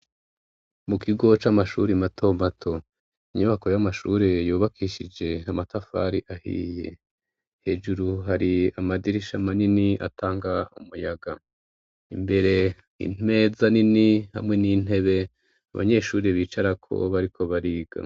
Mu kigo c'amashuri mato mato, inyubako y'amashuri yubakishije amatafari ahiye. Hejuru hari amadirisha manini atanga umuyaga. Imbere imeza nini hamwe n'intebe abanyeshuri bicarako bariko bariga.